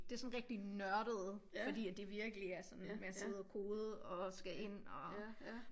Det rigtig nørdet fordi at det virkelig er sådan med at sidde og kode og skal ind og